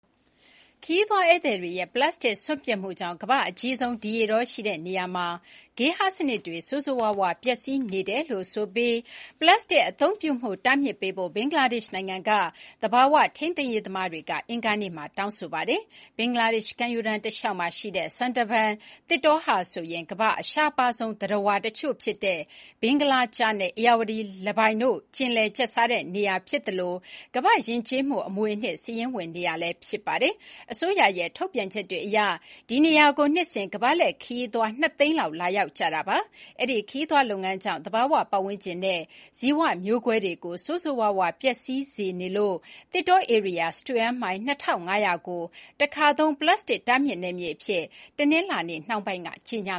ခရီးသွားဧည့်သည်တွေရဲ့ ပလပ်စတစ်စွန့်ပစ်မှုကြောင့် ကမ္ဘာ့အကြီးဆုံး ဒီရေတောရှိတဲ့နေရာမှာ ဂေဟစနစ်တွေ ဆိုးဆိုးဝါးဝါးပျက်စီးနေတယ်-ဆိုပြီး ပလပ်စတစ်အသုံးပြုမှုတားမြစ်ပေးဖို့ ဘင်္ဂလားဒေ့ရှ်နိုင်ငံက သဘာဝထိန်းသိမ်းရေးသမားတွေက အင်္ဂါနေ့က တောင်းဆိုလိုက်ပါတယ်။ ဘင်္ဂလားဒေ့ရှ် ကမ်းရိုးတန်းတလျှောက်မှာရှိတဲ့ Sundarban သစ်တောဟာဆိုရင် ကမ္ဘာ့အရှားပါးဆုံးသတ္တဝါတချို့ဖြစ်တဲ့ ဘင်္ဂလားကျားနဲ့ ဧရာဝတီလင်းပိုင်တို့ ကျင်လည်ကျက်စားတဲ့ နေရာဖြစ်သလို ကမ္ဘာ့ယဉ်ကျေးမှုအမွေအနှစ် စာရင်းဝင်နေရာလည်း ဖြစ်ပါတယ်။ အစိုးရရဲ့ထုတ်ပြန်ချက်တွေအရ ဒီနေရာကို နှစ်စဉ် ကမ္ဘာလှည့်ခရီးသွား ၂ သိန်းလောက် လာရောက်လည်ပတ်ကြပါတယ်။ အဲဒီ့ ခရီးသွားလုပ်ငန်းကြောင့် သဘာဝပတ်ဝန်းကျင်နဲ့ ဇီဝမျိုးကွဲတွေကို ဆိုးဆိုးဝါးဝါး ပျက်စီးစေနေလို့ သစ်တောဧရိယာ စတုန်းမိုင်၂,၅၀၀ ကို တခါသုံး ပလပ်စတစ်တားမြစ်နယ်မြေအဖြစ် တနင်္လာနေ့နှောင်းပိုင်းက ကြေညာ